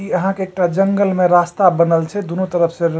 ई यहाँ के एकटा जंगल में रास्ता बनल छे दुनू तरफ से र --